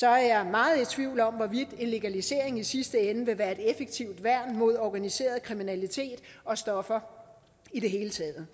er jeg meget i tvivl om hvorvidt en legalisering i sidste ende vil være et effektivt værn mod organiseret kriminalitet og stoffer i det hele taget